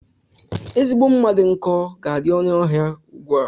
Ezigbo mma dị nkọ ga adị ọnụ ahịa ugbua.